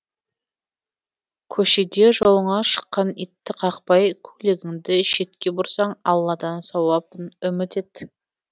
көшеде жолыңа шыққан итті қақпай көлігіңді шетке бұрсаң алладан сауабын үміт ет